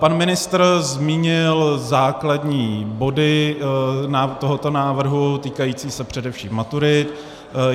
Pan ministr zmínil základní body tohoto návrhu, týkající se především maturit.